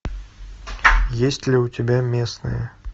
есть ли у тебя местные